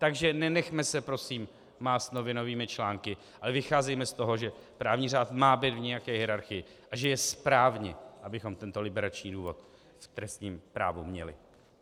Takže nenechme se prosím mást novinovými články, ale vycházejme z toho, že právní řád má být v nějaké hierarchii, a že je správně, abychom tento liberační důvod v trestním právu měli.